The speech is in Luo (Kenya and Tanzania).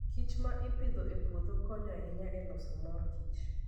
kich ma ipidho e puodho konyo ahinya e loso mor kich.